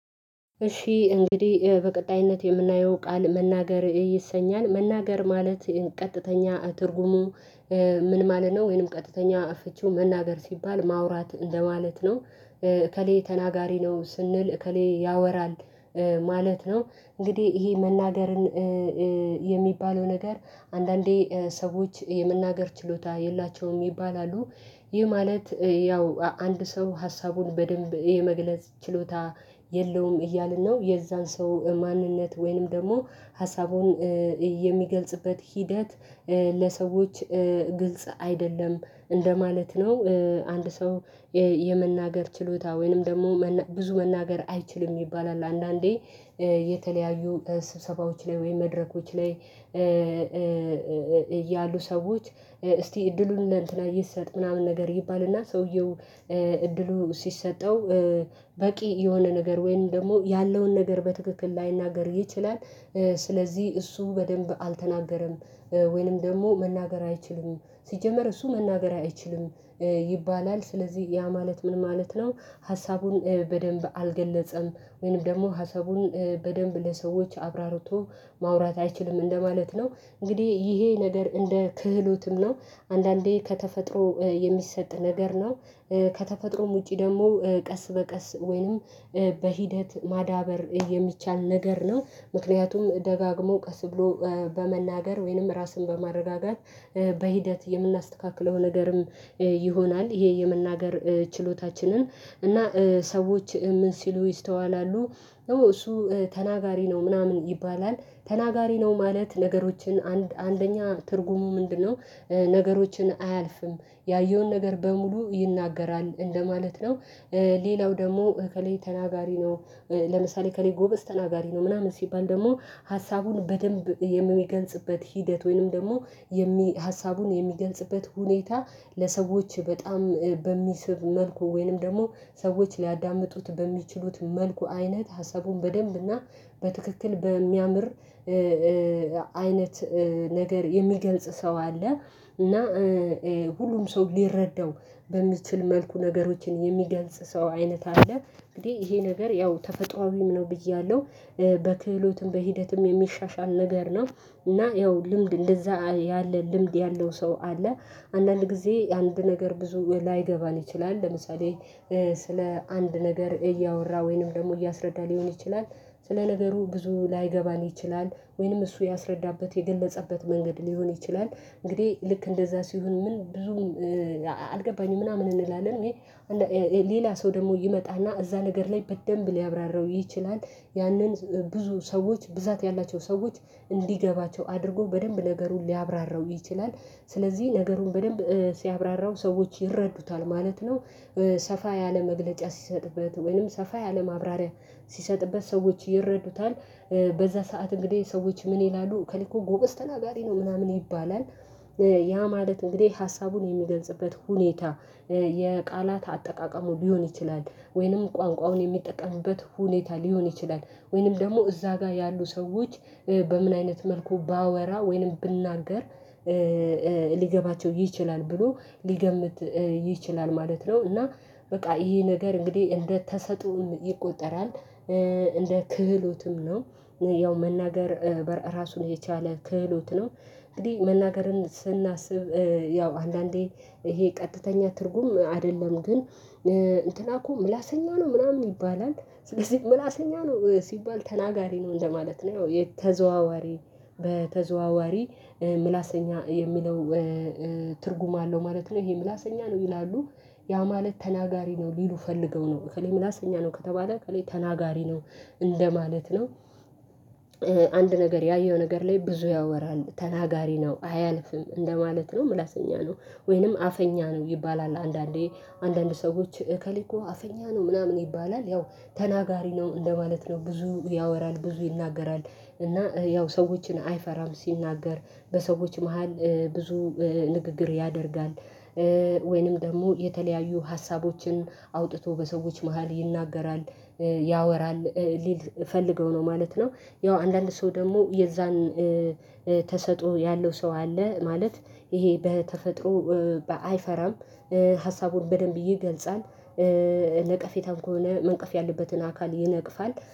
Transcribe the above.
እሺ እንግዲህ በቀጣይነት የምናየው ቃል መናገር ይሰኛል መናገር ማለት ቀጥተኛ ትርጉሙ? ምን ማለት ነው ወይንም ቀጥተኛ ፍቺው መናገር ሲባል ማውራት እንደማለት ነው። እከሌ ተናጋሪ ነው ስንል እከሌ ያወራል ማለት ነው። እንግዲህ ይሄ መናገርን የሚባለው ነገር አንዳንዴ ሰዎች የመናገር ችሎታ የላቸውም ይባላሉ። ይህ ማለት ያው አንድ ሰው ሀሳቡን በደንብ የመግለጽ ችሎታ የለውም እያልን ነው የዛን ሰው ማንነት ወይንም ደግሞ ሀሳቡን የሚገልጽበት ሂደት ለሰዎች ግልጽ አይደለም እንደማለት ነው። አንድ ሰው የመናገር ችሎታ ወይንም ደግሞ ብዙ መናገር አይችልም ይባላል። አንዳንዴ የተለያዩ ስብሰባዎች ላይ ወይም መድረኮች ላይ እያሉ ሰዎች እስቲ እድሉን እንደ እንትና ይሰጥ ምናምን ነገር ይባልና ሰውየው እድሉ ሲሰጠው በቂ የሆነ ነገር ወይም ደግሞ ያለውን ነገር በትክክል ላይናገር ይችላል። ስለዚህ እሱ በደንብ አልተናገረም ወይንም ደግሞ መናገር አይችልም ሲጀመር እሱ መናገር አይችልም ይባላል። ስለዚህ ያ ማለት ምን ማለት ነው? ሀሳቡን በደንብ አልገለጸም ወይንም ደግሞ ሀሳቡን በደንብ ለሰዎች አብራርቶ ማውራት አይችልም እንደማለት ነው። እንግዲህ ይሄ ነገር እንደ ክህሎትም ነው አንዳንዴ ከተፈጥሮ የሚሰጥ ነገር ነው። ከተፈጥሮም ውጪ ደግሞ ቀስ በቀስ ወይንም በሂደት ማዳበር የሚቻል ነገር ነው። ምክንያቱም ደጋግሞ ቀስ ብሎ በመናገር ወይንም ራስን በማረጋጋት በሂደት የምናስተካክለው ነገርም ይሆናል ይሄ የመናገር ችሎታችንን እና ሰዎች ምን ሲሉ ይስተዋላሉ እሱ ተናጋሪ ነው ምናምን ይባላል። ተናጋሪ ነው ማለት ነገሮችን አንደኛ ትርጉሙ ምንድነው ነገሮችን አያልፍም ያየውን ነገር በሙሉ ይናገራል እንደማለት ነው። ሌላው ደግሞ እከሌለ ተናጋሪ ነው። ለምሳሌ ከሌለ ጎበዝ ተናጋሪ ነው ምናምን ሲባል ደግሞ ሀሳቡን በደንብ የሚገንጽበት ሂደት ወይንም ደግሞ የሚ ሀሳቡን የሚገልጽበት ሁኔታ ለሰዎች በጣም በሚስብ መልኩ ወይንም ደግሞ ሰዎች ሊያዳምጡት በሚችሉት መልኩ አይነት ሀሳቡን በደንብና በትክክል በሚያምር አይነት ነገር የሚገልጽ ሰው አለ። እና ሁሉም ሰው ሊረዳው በሚችል መልኩ ነገሮችን የሚገልጽ ሰው አይነት አለ። እንግዲህ ይሄ ነገር ያው ተፈጥሮአዊም ነው ብያለሁ በክህሎትም በሂደትም የሚሻሻል ነገር ነው። እና ያው ልምድ እንደዛ ያለ ልምድ ያለው ሰው አለ። አንዳንድ ጊዜ አንድ ነገር ብዙ ላይገባን ይችላል ለምሳሌ ስለ አንድ ነገር እያወራ ወይንም ደግሞ እያስረዳ ሊሆን ይችላል። ስለ ነገሩ ብዙ ላይገባን ይችላል ወይንም እሱ ያስረዳበት የገለጸበት መንገድ ሊሆን ይችላል እንግዲህ ልክ እንደዛ ሲሆን ምን ብዙም አልገባኝም ምናምን እንላለን ወይ ሌላ ሰው ደግሞ ይመጣና እዛ ነገር ላይ በደንብ ሊያብራራው ይችላል። ያንን ብዙ ሰዎች ብዛት ያላቸው ሰዎች እንዲገባቸው አድርጎ በደንብ ነገሩን ሊያብራራው ይችላል። ስለዚህ ነገሩን በደንብ ሲያብራራው ሰዎች ይረዱታል ማለት ነው። ሰፋ ያለ መግለጫ ሲሰጥበት ወይንም ሰፋ ያለ ማብራሪያ ሲሰጥበት ሰዎች ይረዱታል። በዛ ሰዓት እንግዲህ ሰዎች ምን ይላሉ እከሌኮ ጎበዝ ተናጋሪ ነው ምናምን ይባላል። ያ ማለት እንግዲህ ሀሳቡን የሚገንጽበት ሁኔታ የቃላት አጠቃቀሙ ሊሆን ይችላል ወይንም ቋንቋውን የሚጠቀምበት ሁኔታ ሊሆን ይችላል ወይንም ደግሞ እዛ ጋር ያሉ ሰዎች በምን አይነት መልኩ ባወራ ወይንም ብናገር ሊገባቸው ይችላል ብሎ ሊገምት ይችላል ማለት ነው እና በቃ ይሄ ነገር እንግዲህ እንደተሰጦ ይቆጠራል እንደ ክህሎትም ነው። ያው መናገር ራሱን የቻለ ክህሎት ነው። እንግዲህ መናገርን ስናስብ ያው አንዳንዴ ይሄ ቀጥተኛ ትርጉም አይደለም ግን እንትና እኮ ምላሰኛ ነው ምናምን ይባላል። ስለዚህ ምላሰኛ ነው ሲባል ተናጋሪ ነው እንደማለት ነው ያው ተዘዋዋሪ በተዘዋዋሪ ምላሰኛ የሚለው ትርጉም አለው ማለት ነው ይሄ ምላሰኛ ነው ይላሉ። ያ ማለት ተናጋሪ ነው ሊሉ ፈልገው ነው እከሌ ምላስ እኛ ነው ከተባለ ከሌላ ተናጋሪ ነው እንደማለት ነው። አንድ ነገር ያየው ነገር ላይ ብዙ ያወራል ተናጋሪ ነው አያልፍም እንደማለት ነው ምላሰኛ ነው። ወይንም አፈኛ ነው ይባላል አንዳንዴ አንዳንድ ሰዎች እከሌ እኮ አፍኛ ነው ምናምን ይባላል ያው ተናጋሪ ነው እንደማለት ነው። ብዙ ያወራል ብዙ ይናገራል እና ያው ሰዎችን አይፈራም ሲናገር በሰዎች መሃል ብዙ ንግግር ያደርጋል። ወይንም ደግሞ የተለያዩ ሀሳቦችን አውጥቶ በሰዎች መሃል ይናገራል ያወራል ሊሉ ፈልገው ነው ማለት ነው። ያው አንዳንድ ሰው ደግሞ የዛን ተሰጦ ያለው ሰው አለ ማለት ይሄ በተፈጥሮ አይፈራም ሀሳቡን በደንብ ይገልጻል። ለቀፌታም ከሆነ መንቀፍ ያለበትን አካል ይነቅፋል